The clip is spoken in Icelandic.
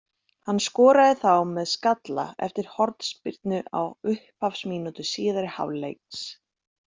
Hann skoraði þá með skalla eftir hornspyrnu á upphafsmínútu síðari hálfleiksins.